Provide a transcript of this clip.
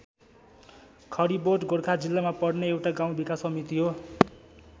खरिबोट गोर्खा जिल्लामा पर्ने एउटा गाउँ विकास समिति हो।